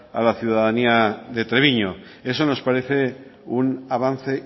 a la ciudadanía de treviño eso nos parece un avance